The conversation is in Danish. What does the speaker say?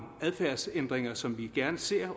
adfærdsændringer som vi gerne ser